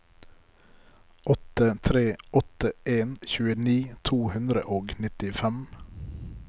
åtte tre åtte en tjueni to hundre og nittifem